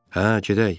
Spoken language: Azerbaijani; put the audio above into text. Hə, gedək.